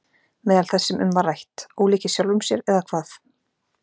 Meðal þess sem um var rætt: Ólíkir sjálfum sér eða hvað?